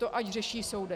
To ať řeší soudy.